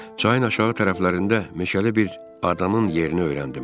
Çayın aşağı tərəflərində meşəli bir adanın yerini öyrəndim.